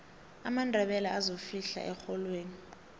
amandebele azofihla erholweni